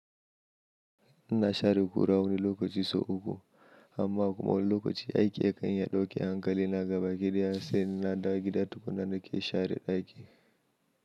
Na share kura wani lokaci sau uku amma kuma wani lokaci aiki yakan iya dauke hankali na gaba ki ɗaya sai in na dawo gida tukunna na ke share ɗaki.